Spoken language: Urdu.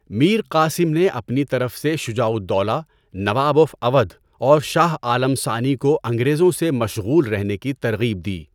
میر قاسم نے اپنی طرف سے شجاع الدولہ، نواب آف اودھ اور شاہ عالم ثانی کو انگریزوں سے مشغول ہونے کی ترغیب دی۔